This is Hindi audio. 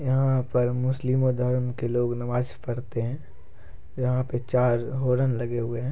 यहाँ पर मुस्लिमों धर्म के लोग नमाज़ पढ़ते है यहाँ पर चार हॉर्न लगे हुए है।